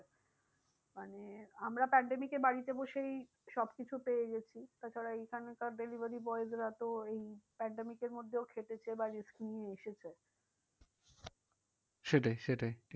মানে আমরা pandemic এ বাড়িতে বসেই সব কিছু পেয়ে গেছি। তাছাড়া এখানকার delivery boys রা তো এই pandemic এর মধ্যেও খেটেছে বা risk নিয়ে এসেছে। সেটাই সেটাই